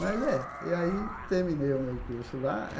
Mas é, e aí terminei o meu curso lá.